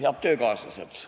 Head töökaaslased!